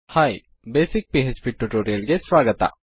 hi basic PHP tutorial ಗೆ ಸ್ವಾಗತ